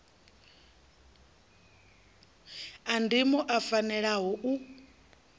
a ndimo o fanelaho u